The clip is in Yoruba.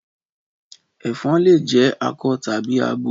Ẹ̀fan lè jẹ akọ tàbí abo.